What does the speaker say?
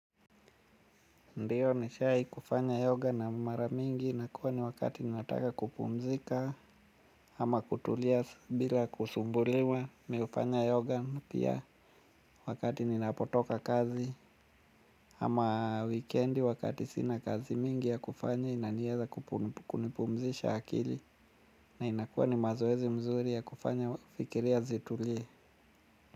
Ndio nishahi kufanya yoga na mara mingi inakuwa ni wakati nataka kupumzika. Ama kutulia bila kusumbuliwa, mi hufanya yoga pia wakati ninapotoka kazi, ama wikendi wakati sina kazi mingi ya kufanya inaniweza kunipumzisha akili. Na inakuwa ni mazoezi mzuri ya kufanya fikiria zitulie.